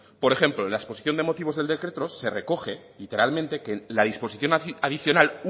por ejemplo en la exposición de motivos del decreto se recoge literalmente que la disposición adicional